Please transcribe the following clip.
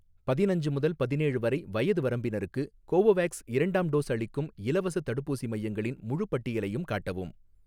பதினஞ்சு முதல் பதினேழு வரை வயது வரம்பினருக்கு கோவோவேக்ஸ் இரண்டாம் டோஸ் அளிக்கும் இலவசத் தடுப்பூசி மையங்களின் முழுப் பட்டியலையும் காட்டவும்